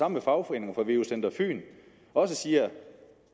med fagforeningerne og veu center fyn også siger